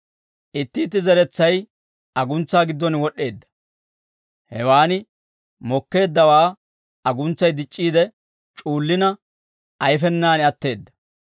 Itti itti zeretsay aguntsaa giddon wod'd'eedda; hewaan mokkeeddawaa aguntsay dic'c'iide c'uullina, ayfenaan atteedda.